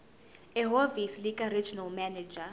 ehhovisi likaregional manager